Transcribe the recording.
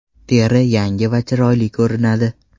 Teri yangi va chiroyli ko‘rinadi.